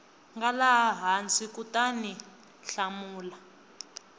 nga laha hansi kutaniu hlamula